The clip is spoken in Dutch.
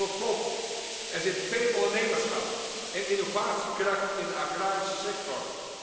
Tot slot, er zit veel ondernemerschap en innovatiekracht in de agrarische sector.